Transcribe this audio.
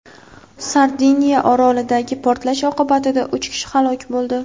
Sardiniya orolidagi portlash oqibatida uch kishi halok bo‘ldi.